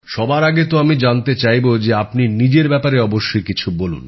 সবার আগে তো আমি চাইব যে আপনি নিজের ব্যাপারে অবশ্যই কিছু বলুন